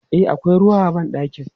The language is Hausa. E, akwai ruwa a ban ɗakin.